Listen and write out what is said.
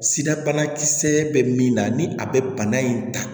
Sirabana kisɛ bɛ min na ni a bɛ bana in ta